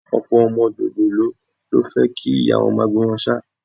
Ọ̀pọ̀ ọmọ jòjòló ló fẹ́ kí ìyá wọn máa gbé wọn ṣáá